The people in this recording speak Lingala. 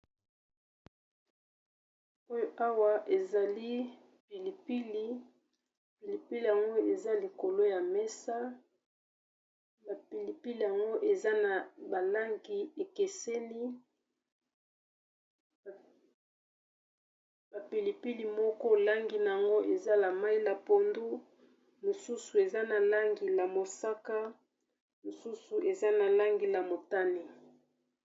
Oyo awa ezali pilipili, pilipili yango eza likolo ya mesa , eza na ba langi ekeseni ba pilipili moko langi na yango eza mayi pondu, mosusu eza ya mosaka, mosusu eza ya motane.